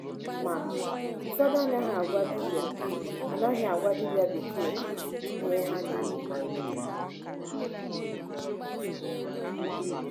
Ma, ụfọdụ anaghị agwa dibia anaghị agwa dibia bekee ha ihe ha na-eme.